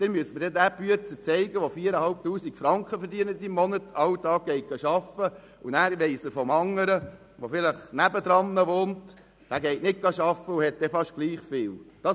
Sie müssen mir denjenigen Arbeiter zeigen, der jeden Tag arbeitet und 4500 Franken im Monat verdient und den es nicht stört, dass ein anderer, vielleicht sein Nachbar, nicht arbeitet und dabei fast gleich viel Einkommen hat.